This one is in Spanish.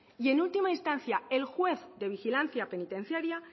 y en última instancia el juez de vigilancia penitenciaria